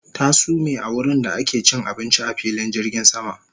Ta sume a wurinda ake cin abinci a filin jirgin sama